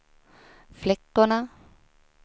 flickorna